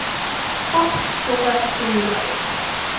pap soppe roereier